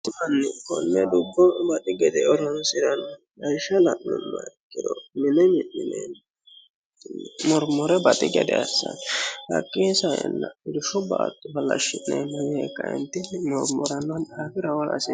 Mitu manni konne dubbo baxi gede horonsiranno gara la'numoro mine mi'nineemmo yee murmure baxi gede assanno. Hakii saeentini irshu baatto halashi'neemmo yee kaeentinni murmurano daafira agara hasiissano.